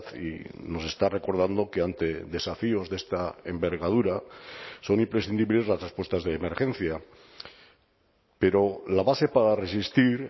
y nos está recordando que ante desafíos de esta envergadura son imprescindibles las respuestas de emergencia pero la base para resistir